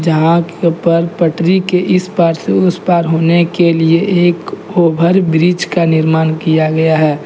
जहा पर पटरी के इस पार से उस पार होने के लिए एक ओवर ब्रिज का निर्माण किया गया है।